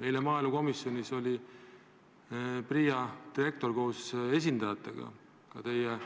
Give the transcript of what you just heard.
Eile oli maaelukomisjonis PRIA direktor koos esindajatega, ka teie